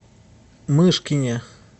мышкине